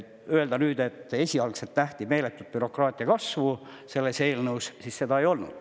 Öelda nüüd, et esialgselt nähti meeletut bürokraatia kasvu selles eelnõus – seda ei olnud.